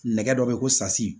Nɛgɛ dɔ be yen ko sasi